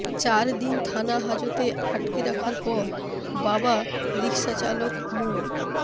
চার দিন থানা হাজতে আটক রাখার পর বাবা রিকশাচালক মো